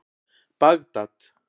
Bagdad